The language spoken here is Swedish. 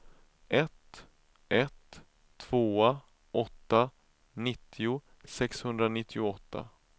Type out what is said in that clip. ett ett två åtta nittio sexhundranittioåtta